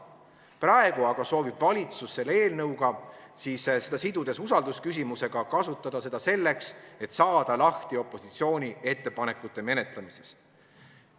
Praegu aga soovib valitsus eelnõu usaldusküsimusega sidumist kasutada selleks, et saada lahti opositsiooni ettepanekute menetlemisest.